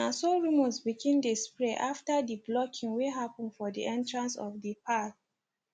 na so rumors begin dey spread after d blocking wey hapen for d entrance of d parl